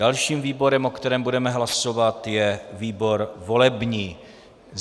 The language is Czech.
Dalším výborem, o kterém budeme hlasovat, je výbor volební.